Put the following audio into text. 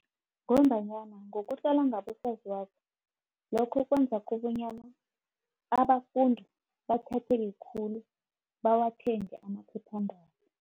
Ngombanyana ngokutlola ngabosaziwako, lokho kwenza kobonyana abafundi bathatheke khulu, bawathenge amaphephandaba.